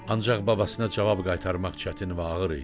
Ancaq babasına cavab qaytarmaq çətin və ağır idi.